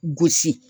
Gosi